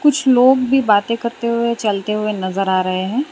कुछ लोग भी बातें करते हुए चलते हुए नजर आ रहे हैं।